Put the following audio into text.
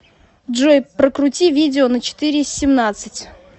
джой прокрути видео на четыре семнадцать